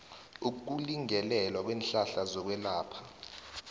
ukulingelelwa kweenhlahla zokwelapha